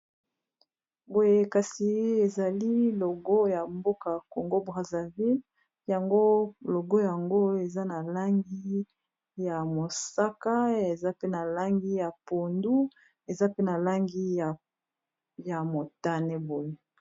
Boye kasi ezali logo ya mboka congo brasaville yango logo yango eza na langi ya mosaka eza pe na langi ya pondu eza pe na langi ya motane boye mi.